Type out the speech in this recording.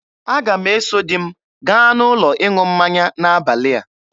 Aga m eso di m gaa n'ụlọ ịṅụ mmanya n'abalị a.